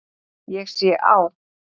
Ég sé á